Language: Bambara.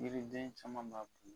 Yiriden caman b'a kun.